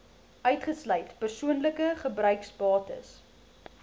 uitgesluit persoonlike gebruiksbates